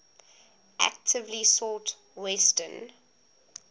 actively sought western